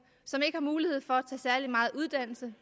som ikke har mulighed for at tage særlig meget uddannelse